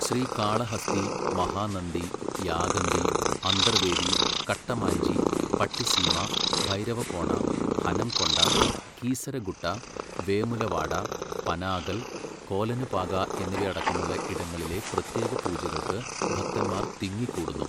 ശ്രീകാളഹസ്തി, മഹാനന്ദി, യാഗന്തി, അന്തർവേദി, കട്ടമാഞ്ചി, പട്ടിസീമ, ഭൈരവകോണ, ഹനംകൊണ്ട, കീസരഗുട്ട, വേമുലവാഡ, പനാഗൽ, കോലനുപാക എന്നിവയടക്കമുള്ള ഇടങ്ങളിലെ പ്രത്യേക പൂജകൾക്ക് ഭക്തന്മാർ തിങ്ങിക്കൂടുന്നു.